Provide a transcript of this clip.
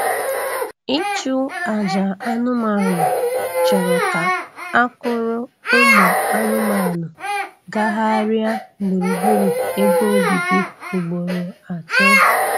Ịchụ aja anụmanụ chọrọ ka a kwụrụ ụmụ anụmanụ gagharịa gburugburu ebe obibi ugboro atọ